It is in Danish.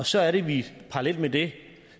så er det at vi parallelt med det